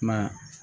Kuma